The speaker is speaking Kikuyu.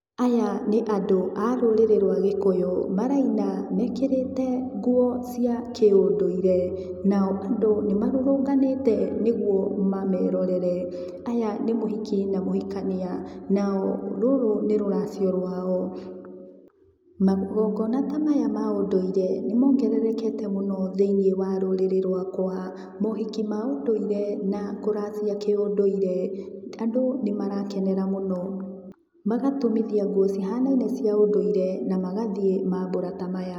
Aya nĩ andũ a-rũrĩrĩ rũa gĩkũyũ, maraina mekĩrĩte nguo cia kĩ ũndũire. Nao andũ nĩmarũrũnganĩte nĩguo mamerorere. Aya ni muhiki na mũhikania nao rũrũ nĩ rũracio rũao. Magongona ta maya ma ũndũire nimongererekete mũno thĩiniĩ wa rũrĩrĩ rũakwa. Maũhiki ma ũndũire na kũracia kĩ ũnduire. Andu nimarakenera mũno, magatumithia nguo cihanaine cia ũndũire na magathiĩ mambũra ta maya.